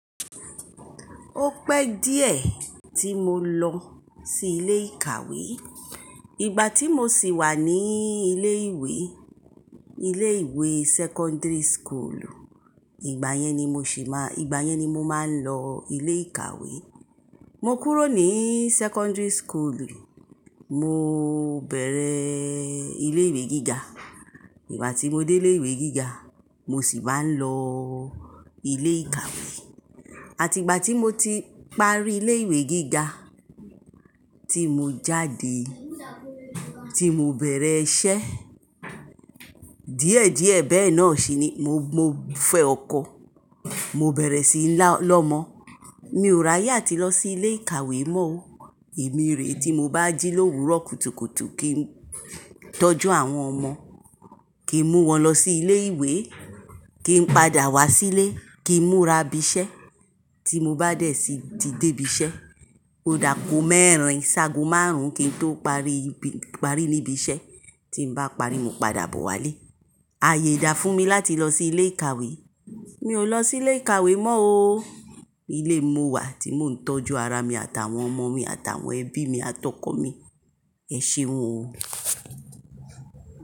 O pé díẹ̀ tí mo lọ sí ilé ìkàwé. Ìgbà tí mo sì wà nií ilé ìwé, ilé ìwé secondary school, ìgbà yẹn ni mo ṣì má, ìgbà yẹn ni mo máa ń lọ ilé ìkàwé. Mo kúrò ní secondary school, mo bẹ̀rẹ̀ ilé ìwé gíga. Ìgbà tí mo dé ilé ìwé gíga, mo sì máa ń lọ ilé ìkàwé. Àti ìgbà tí mo ti parí ilé ìwé gíga, tí mo jáde, tí mo bẹ̀rẹ̀ iṣẹ́, díẹ̀ díẹ̀ bẹ́ náà ṣì ni mo, mo fẹ́ ọkọ, mo bẹ̀rẹ̀ sí lọmọ. Mi ò ráyè àti lọ sí ilé ìkàwé mọ́. Èmi rè tí mo bá jí l'òwúrọ̀ kùtùkùtù kí n tọ́jú àwọn ọmọ, kí n mú wọn lọ sí ilé ìwé, kí n padà wá sílé, kí n múra ibi iṣẹ́ tí mo bá dẹ̀ sí ti dé ibi iṣẹ́. Odà àgó mẹ́rin, ṣágo márùn ún kí n tó parí ibi, parí níbi iṣẹ́. Tí n bá parí, mo padà bọ̀ Wálé. Ayé dà fún mi láti lọ sí ilé ìkàwé. Mi ò lọ sí ilé ìkàwé mọ́ o. Ilé mo wà tí mò ń tọ́jú ara mi àtàwọn ọmọ mi àtàwọn ẹbí mi àtọkọ̀ mi. Ẹ ṣeun o.